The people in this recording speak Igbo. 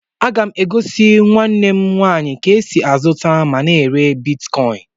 A ga m egosi nwa Nne m nwaanyị ka e sị azuta ma na èrè bịtkọin